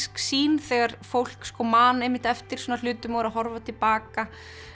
sýn þegar fólk man einmitt eftir svona hlutum og er að horfa til baka